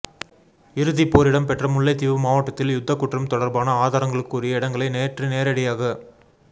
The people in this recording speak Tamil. இறுதிப்போர் இடம்பெற்ற முல்லைத்தீவு மாவட்டத்தில் யுத்தக்குற்றம் தொடர்பான ஆதாரங்களுக்குரிய இடங்களை நேற்று நேரடியாகச்